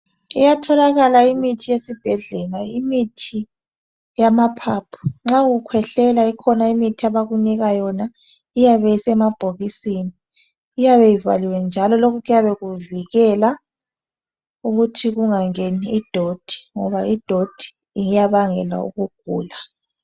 Iyatholakala imithi esibhedlela imithi yamaphaphu nxa ukhwehlela ikhona imithi abakunika yona iyabe isemabhokisini iyabe ivaliwe njalo kuyabe kuvikela ukuthi kungangeni idoti ngoba idoti iyabangela ukugula.